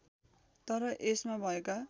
तर यसमा भएका